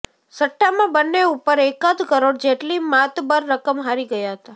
સટ્ટામાં બન્ને ઉપર એકાદ કરોડ જેટલી માતબર રકમ હારી ગયા હતા